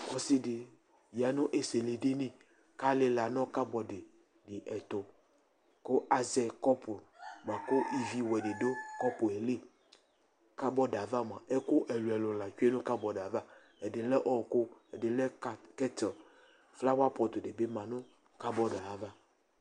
Ɔsɩ ɖɩ ƴa nʋ esiliɖini ,ƙʋ ta lɩla nʋ ƙabɔɖ ɖɩ ɛtʋƘʋ azɛ ƙɔpʋ ,ƙʋ ivi wɛ ɖɩ ɖʋ ƙɔpʋ liƘabɔɖ ava mʋa, ɛƙʋ ɛlʋɛlʋ la tsue